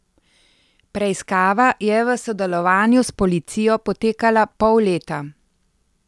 Preiskava je v sodelovanju s policijo potekala pol leta.